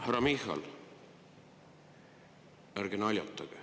Härra Michal, ärge naljatage!